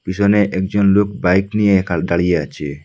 পিছনে একজন লোক বাইক নিয়ে একাল দাঁড়িয়ে আছে।